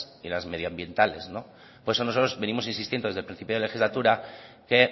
y las medioambientales por eso nosotros venimos insistiendo desde el principio de la legislatura que